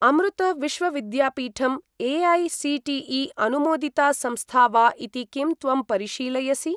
अमृत Vishwavidyapeetham AICTE. अनुमोदिता संस्था वा इति किं त्वं परिशीलयसि?